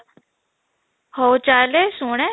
ହଉ ଚାଲେ ଶୁଣେ